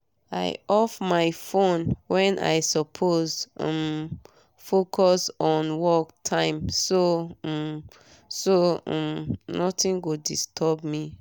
i off my phone wen i suppose um focus on work time so um so um nothing go disturb me